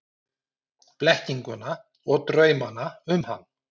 Blekkinguna og draumana um hann.